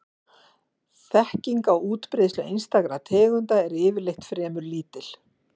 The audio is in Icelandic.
Þekking á útbreiðslu einstakra tegunda er yfirleitt fremur lítil.